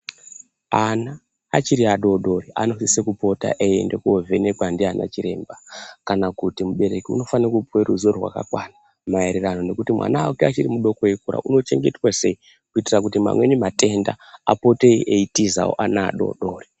Ana achiri adodori anosise kupota eyienda kovhenekwa ndiana chiremba kana kuti mubereki unofana kupuwe ruzivo rwakakwana mayererano nekuti mwana wake mudoko eyikura unochengetwa sei kuitira kuti mamweni matenda apote eitizawo ana adodori.